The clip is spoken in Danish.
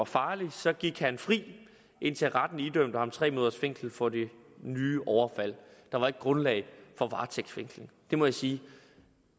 farlig så gik han fri indtil retten idømte ham tre måneders fængsel for det nye overfald der var ikke grundlag for varetægtsfængsling det må jeg sige